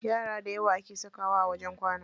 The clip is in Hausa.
Yara dayawa ake sakawa a wajen kwana.